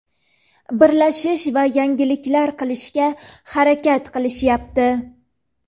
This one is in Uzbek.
birlashish va yangiliklar qilishga harakat qilishyapti.